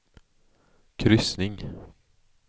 kryssning